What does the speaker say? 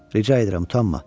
Rica edirəm, utanma.